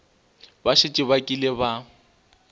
ba šetše ba kile ba